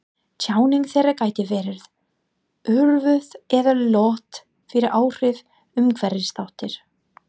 Tjáning þeirra gæti verið örvuð eða lött fyrir áhrif umhverfisþátta.